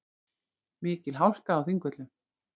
Mikil hálka á Þingvöllum